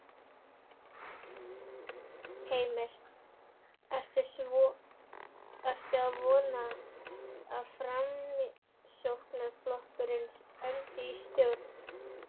Heimir: Ertu að vona að Framsóknarflokkurinn endi í stjórn?